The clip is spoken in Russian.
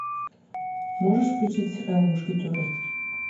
можешь включить сериал мушкетеры